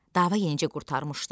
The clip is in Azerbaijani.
Dava yenicə qurtarmışdı.